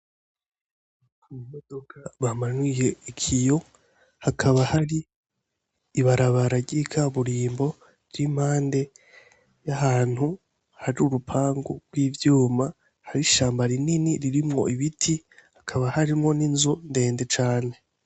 Imodoka bamanuye ikiyo hakaba hari ibarabara ry'ikaburimbo riri impande y'ahantu hari urupangu rw'ivyuma hari ishamba ririmwo ibiti hakaba harimwo n'inzu ndende cane.